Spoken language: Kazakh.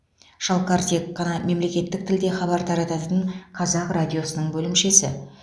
шалқар тек қана мемлекеттік тілде хабар тарататын қазақ радиосының бөлімшесі